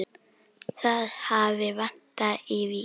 Það hafi vantað í Vík.